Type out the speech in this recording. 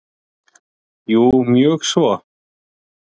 Jú, mjög svo.